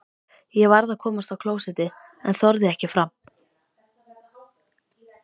Ég varð að komast á klósettið en þorði ekki fram.